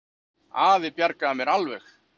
Afi bjargaði mér alveg.